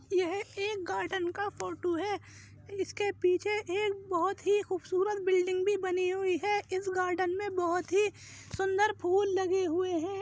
यह एक गार्डन का फोटो है। इसके पीछे एक बोहोत ही खूबसूरत बिल्डिंग भी बनी हुई है। इस गार्डन में बोहोत ही सुंदर फूल लगे हुए हैं।